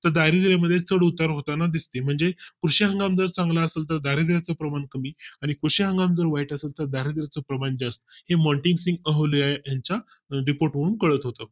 तर दारिद्र्य मध्ये चढ उतार होताना दिसते म्हणजे कृषी हंगाम जर चांगला असेल तर दारिद्र्या चे प्रमाण कमी आणि कृषी हंगाम जर वाईट असेल तर दारिद्र्याचा प्रमाण जास्त हे मॉन्टी सिंग अहलुवालिया यांच्या आहे Report वरून कळत होत